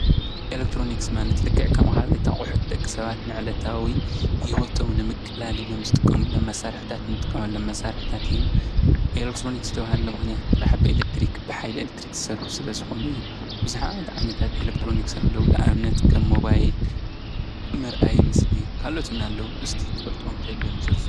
ኤለክትሮኒክስ ማለት ልክዕ ከም ካልኦት ኣቁሑ ደቂ ሰባት ብዕለታዊ ሂወቶም ንምቅላል ኢሎም ዝጥቀምሎም መሳርሒ ኤለክትሮኒክስ ዝተብሃልሎም ምክንያት ጥራሕ ብሓይሊ ኤለክትሪክ ዝሰርሑ ስለ ዝኮኑ እዩ። ብዙሓት ዓይነታት ኤለክትሮኒክስ ኣለዉ። ንኣብነት ከም ሞባይል መርኣዪ ምስሊ ካልኦትን ኣለዉ እስቲ ትፈልጥዎም ተሃልዮም ዘርዝሩ?